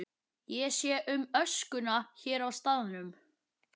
Ég sé um öskuna hér á staðnum.